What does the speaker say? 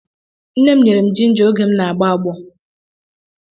Nne m nyere m jinja oge m na-agbọ agbọ.